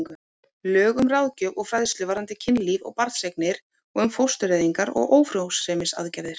Lög um ráðgjöf og fræðslu varðandi kynlíf og barneignir og um fóstureyðingar og ófrjósemisaðgerðir.